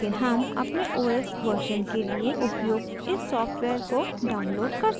लेकिन हम अपने os version के लिए उपयुक्त इस सॉफ्टवेयर को download कर सकते हैं